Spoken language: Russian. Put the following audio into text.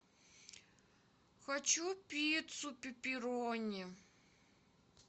хочу пиццу пепперони